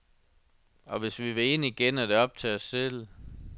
Og hvis vi vil ind igen, er det op til os selv.